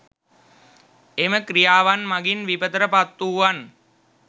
එම ක්‍රියාවන් මගින් විපතට පත් වූවන්